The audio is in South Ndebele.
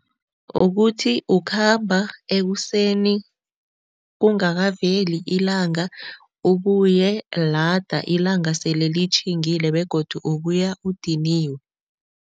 Ukuthi ukhamba ekuseni kungakaveli ilanga, ubuye lada ilanga sele litjhilingile begodu ubuya udiniwe.